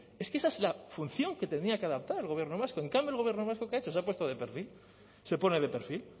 es que esa es la función que tenía que adaptar el gobierno vasco en cambio el gobierno vasco qué ha hecho se ha puesto de perfil se pone de perfil